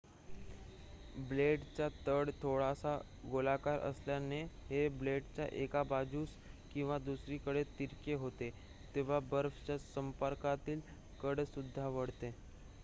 ब्लेडचा तळ थोडासा गोलाकार असल्याने हे ब्लेड एका बाजूस किंवा दुसरीकडे तिरके होते तेव्हा बर्फाच्या संपर्कातील कड सुद्धा वळते